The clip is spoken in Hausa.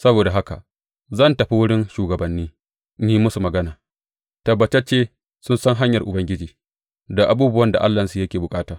Saboda haka zan tafi wurin shugabanni in yi musu magana; tabbatacce sun san hanyar Ubangiji, da abubuwan da Allahnsu yake bukata.